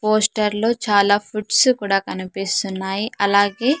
పోస్టర్లో చాలా ఫుడ్స్ కూడా కనిపిస్తున్నాయి అలాగే--